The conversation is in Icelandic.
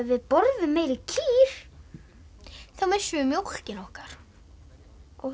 við borðum meiri kýr þá missum við mjólkina okkar ó